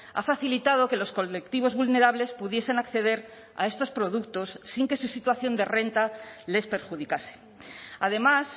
ha facilitado que los colectivos vulnerables pudiesen acceder a estos productos sin que su situación de renta les perjudicase además